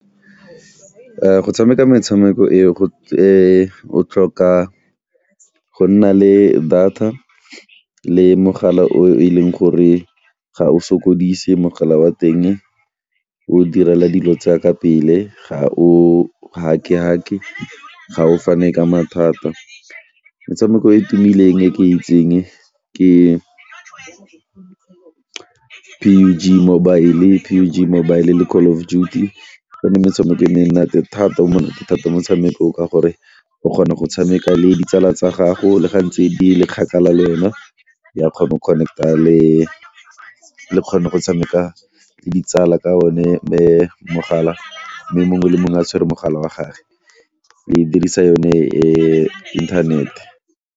Go tshameka metshameko e o tlhoka go nna le data le mogala o e leng gore ga o sokodise mogala wa teng, o direla dilo tsa ka pele, ga o gake gake, ga o fane ka mathata. Metshameko e e tumileng e ke itseng ke mobile mobile le Call of Duty metshameko e monate thata o monate thata motshameko o ka gore o kgona go tshameka le ditsala tsa gago le ga ntse di le kgakala ya kgona go connect-a le kgone go tshameka ka o ne mogala mme mongwe le mongwe a tshwere mogala wa gage le dirisa yone inthanete.